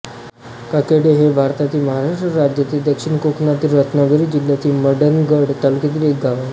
ताकेडे हे भारतातील महाराष्ट्र राज्यातील दक्षिण कोकणातील रत्नागिरी जिल्ह्यातील मंडणगड तालुक्यातील एक गाव आहे